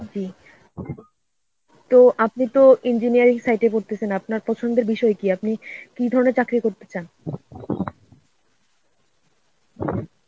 জি তো আপনি তো engineering সাইটে পড়তেছেন. আপনার পছন্দের বিষয় কি? আপনি কি ধরনের চাকরি করতে চান?